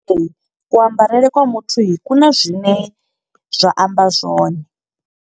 Ku ambarele kwa muthu ku na zwine zwa amba zwone.